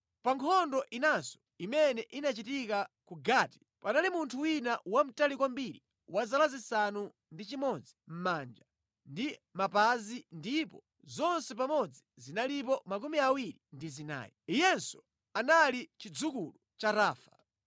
Pa nkhondo inanso imene inachitika ku Gati panali munthu wina wamtali kwambiri wa zala zisanu ndi chimodzi mʼmanja ndi mʼmapazi ndipo zonse pamodzi zinalipo 24. Iyenso anali chidzukulu cha Rafa.